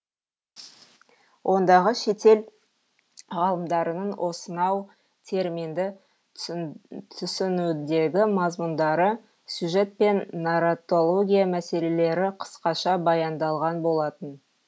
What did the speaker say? ондағы шетел ғалымдарының осынау терминді түсінудегі мазмұндары сюжет пен нарратология мәселелері қысқаша баяндалған болатын